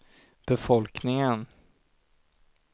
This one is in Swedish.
befolkningen